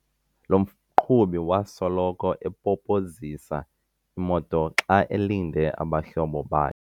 Lo mqhubi wasoloko epopozisa imoto xa elinde abahlobo bakhe.